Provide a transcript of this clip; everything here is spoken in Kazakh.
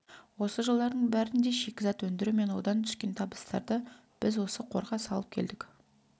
осы жылдардың бәрінде шикізат өндіру мен одан түскен табыстарды біз осы қорға салып келдік